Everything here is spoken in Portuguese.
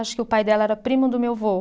Acho que o pai dela era primo do meu vô.